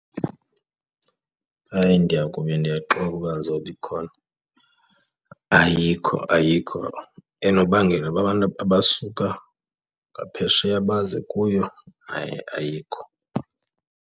Hayi, ndiya kube ndiyaxoka uba ndizothi ikhona. Ayikho, ayikho enobangela uba abantu abasuka ngaphesheya baze kuyo, hayi ayikho.